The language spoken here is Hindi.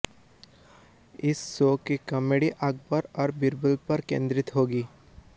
इस शो की कॉमेडी अकबर और बीरबल पर केंद्रित होगी